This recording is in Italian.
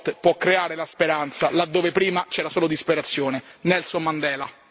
Lo sport può creare la speranza laddove prima c'era solo disperazione, Nelson Mandela.